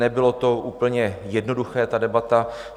Nebylo to úplně jednoduché, ta debata.